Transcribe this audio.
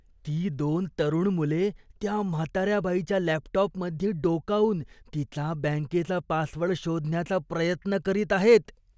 ती दोन तरुण मुले त्या म्हाताऱ्या बाईच्या लॅपटॉपमध्ये डोकावून तिचा बँकेचा पासवर्ड शोधायचा प्रयत्न करत आहेत.